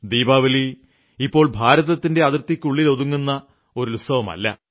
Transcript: ദീപാവലി ഇപ്പോൾ ഭാരതത്തിന്റെ അതിർത്തിക്കുള്ളിൽ ഒതുങ്ങുന്നതല്ല